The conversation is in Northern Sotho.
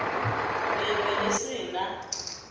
le be le se na